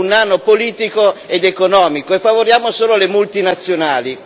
Noi siamo un nano politico ed economico e favoriamo solo le multinazionali.